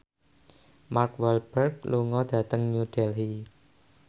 Mark Walberg lunga dhateng New Delhi